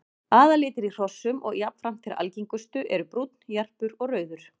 Aðallitir í hrossum og jafnframt þeir algengustu eru brúnn, jarpur og rauður.